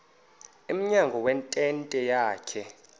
emnyango wentente yakhe